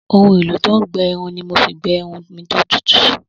Ohun-èlò-tó-ń-gbẹ-irun ni mo fi gbẹ irun mi tó tutù